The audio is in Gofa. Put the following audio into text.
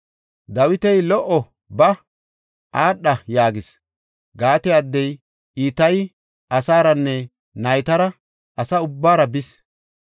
Dawiti, “Lo77o! Ba, aadha” yaagis. Gaate addey Itayi asaaranne naytara asa ubbaara bis.